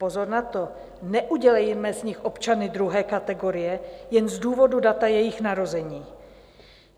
Pozor na to, neudělejme z nich občany druhé kategorie jen z důvodu data jejich narození.